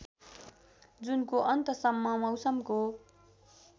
जुनको अन्तसम्म मौसमको